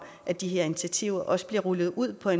at de her initiativer også bliver rullet ud for